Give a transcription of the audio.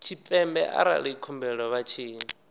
tshipembe arali khumbelo vha tshi